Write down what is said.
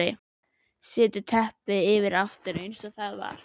Setur teppið yfir aftur eins og það var.